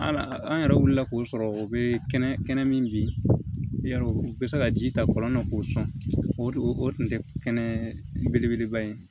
An yɛrɛ wulila k'o sɔrɔ o bɛ kɛnɛ kɛnɛ min bi yarɔ u bɛ se ka ji ta kɔlɔn na k'o sɔn o tun tɛ kɛnɛ belebeleba ye